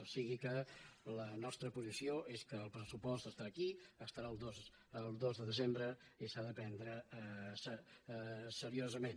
o sigui que la nostra posició és que el pressupost estarà aquí estarà el dos de desembre i s’ha de prendre seriosament